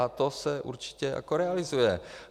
A to se určitě jako realizuje.